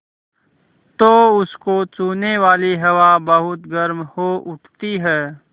तो उसको छूने वाली हवा बहुत गर्म हो उठती है